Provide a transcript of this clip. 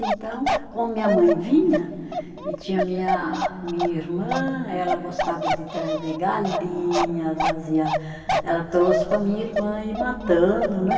Então, como minha mãe vinha e tinha minha minha irmã, ela gostava de trazer galinha, trazia, ela trouxe para a minha irmã ir matando, né?